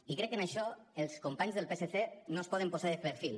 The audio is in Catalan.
i crec que en això els companys del psc no es poden posar de perfil